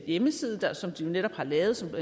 hjemmeside som de netop har lavet og som